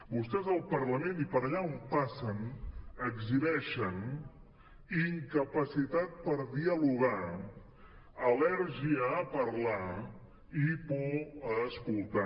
vostès al parlament i per allà on passen exhibeixen incapacitat per dialogar al·lèrgia a parlar i por a escoltar